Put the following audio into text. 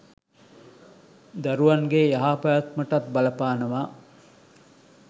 දරැවන්ගේ යහපැවැත්මටත් බලපානවා.